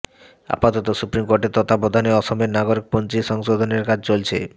আপাতত সুপ্রিম কোর্টের তত্ত্বাবধানে অসমের নাগরিকপঞ্জী সংশোধনের কাজ চলছে